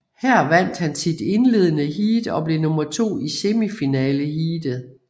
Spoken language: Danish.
Her vandt han sit indledende heat og blev nummer to i semifinaleheatet